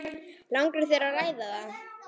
Langar þér að ræða það?